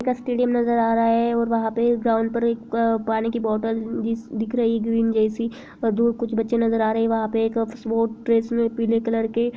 एक स्टेडियम नजर आ रहा है । और वहाँ पे ग्राउंड पे एक अ पानी की बोतल भी बिस दिख रही है ग्रीन जैसी और दो कुछ बच्चे नजर आ रहें हैं वहाँ पे एक पीले कलर के--